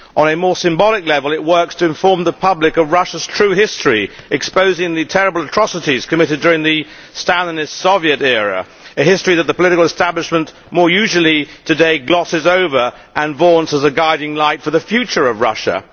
On a more symbolic level, it works to inform the public of Russia's true history, exposing the terrible atrocities committed during the Stalinist Soviet era a history that the political establishment more usually today glosses over and vaunts as a guiding light for the future of Russia.